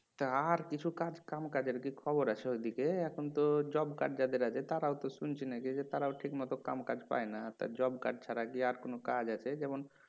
তা আর কিছু কাজ কাম কাজের কি খবর আছে ওইদিকে এখন তো জব কার্ড যাদের আছে তারাও তো শুনছি নাকি যে তারাও ঠিক মত কামকাজ পায়না তা জব কার্ড ছাড়া কি আর কোনও কাজ আছে যেমন"